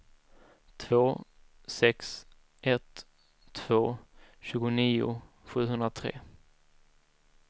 två sex ett två tjugonio sjuhundratre